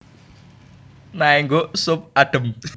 Naengguk sup adhem